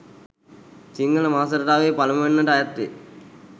සිංහල මාස රටාවේ පළමුවැන්නට අයත් වේ.